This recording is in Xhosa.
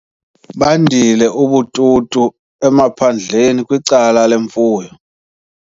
Bandile ubututu emaphandleni kwicala lemfuyo.